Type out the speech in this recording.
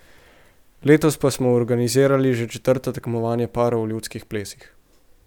Letos pa smo organizirali že četrto tekmovanje parov v ljudskih plesih.